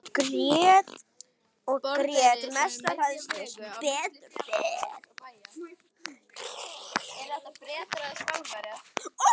Hún grét og grét, mest af hræðslu, sem betur fer.